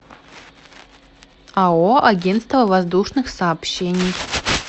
ао агентство воздушных сообщений